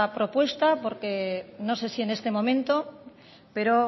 propuesta porque no sé si en este momento pero